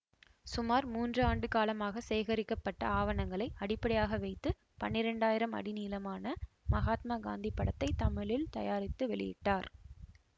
சுமார் மூன்று ஆண்டு காலமாக சேகரிக்கப்பட்ட ஆவணங்களை அடிப்படையாக வைத்து பன்னிரெண்டாயிரம் அடி நீளமான மகாத்மா காந்தி படத்தை தமிழில் தயாரித்து வெளியிட்டார்